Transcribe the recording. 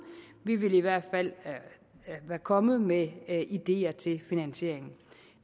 vi ville i hvert fald være kommet med ideer til finansiering